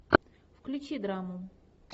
включи драму